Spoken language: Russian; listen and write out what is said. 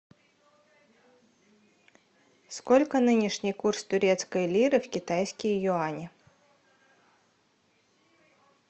сколько нынешний курс турецкой лиры в китайские юани